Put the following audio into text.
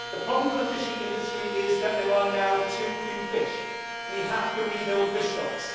The problem for the fishing industry is that there are now too few fish. We have to rebuild fish stocks.